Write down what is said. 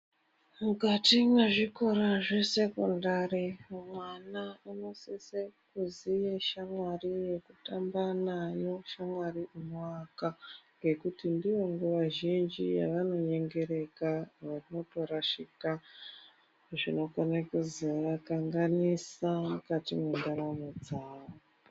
Mukati mwe zvikora zve sekondari mwana uno sise kuziye shamwari yeku tamba nayo shamwari ino aka ngekuti ndiyo nguva zhinji yavano nyengereka nekuto rashika zvinokone kuzoa kanganisa mukati mwe ndaramo dzavo.